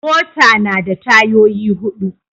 Mota na da tayoyi hudu.